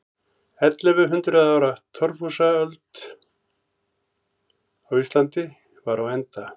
Ellefu hundruð ára torfhúsaöld á Íslandi var á enda.